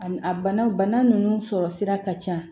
A bana bana nunnu sɔrɔ sira ka ca